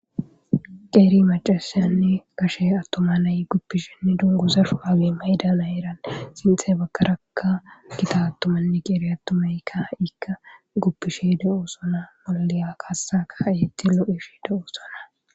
Qeeri macasanne gashe atuma nay gufishenne dunguza shurabe mayida nayiranne sintha bagaraka Gita atumanne qeeri atumayka ika gufishe de'osona. lo'iya kasa ka'ishe lo'ishe dosona.